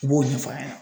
I b'o ɲɛfɔ a ɲɛna